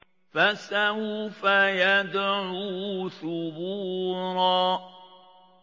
فَسَوْفَ يَدْعُو ثُبُورًا